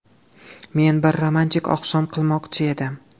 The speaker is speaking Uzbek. Men bir romantik oqshom qilmoqchi edim.